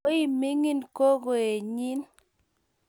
koimining' kogoenyin.